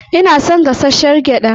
Ina son gashashshiyar gyada.